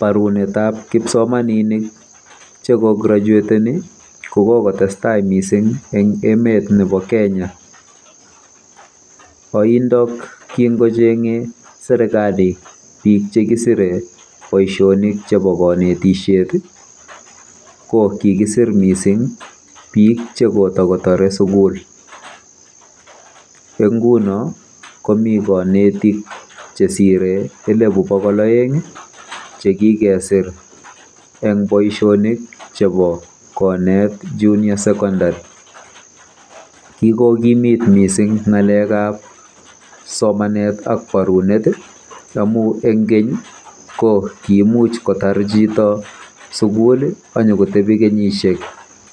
Parunetab kipsomaninik chekugraeteni ko kokotestai mising eng emetab KENYA. Oindok kingocheng'ei serikali bik chekisire boisiet nebo konetishiet ko kikisir mising bik chekitakotare sukul. ENg nguno komi kanetik chesire elebu bokol oeng chekikesir eng boisiet nebo konet juniour secondary. Kikokimit mising ng'alekab somanet ak barunet amu eng keny ko kiimuch kotar chito sukul anyokotebi kenyisiek